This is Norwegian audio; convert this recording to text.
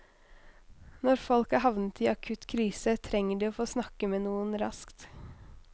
Når folk er havnet i akutt krise, trenger de å få snakke med noen raskt.